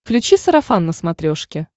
включи сарафан на смотрешке